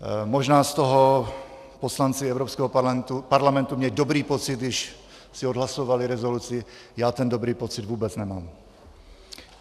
Možná z toho poslanci Evropského parlamentu měli dobrý pocit, když si odhlasovali rezoluci, já ten dobrý pocit vůbec nemám.